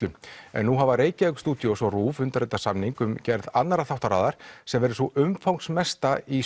en nú hafa Reykjavík studios og RÚV undirritað samning um gerð annarrar þáttaseríu sem verður sú umfangsmesta í